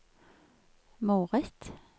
moret